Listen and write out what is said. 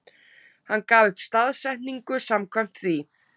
Hann gaf upp staðsetningu samkvæmt því